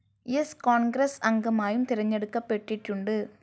സ്‌ കോൺഗ്രസ്‌ അംഗമായും തെരഞ്ഞെടുക്കപ്പെട്ടിട്ടുണ്ട്.